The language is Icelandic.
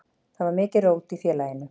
Þá var mikið rót í félaginu.